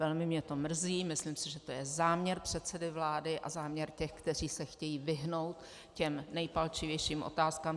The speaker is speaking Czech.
Velmi mě to mrzí, myslím si, že to je záměr předsedy vlády a záměr těch, kteří se chtějí vyhnout těm nejpalčivějším otázkám.